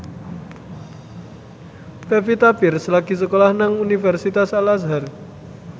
Pevita Pearce lagi sekolah nang Universitas Al Azhar